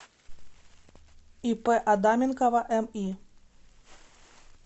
ип адаменкова ми